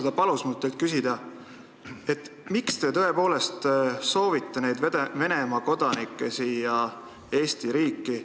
Ta palus mul teilt küsida, miks te soovite neid Venemaa kodanikke siia Eesti riiki.